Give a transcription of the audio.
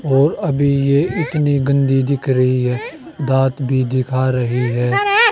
और अभी ये इतने गंदे दिख रहे है दांत भी दिखा रहे है।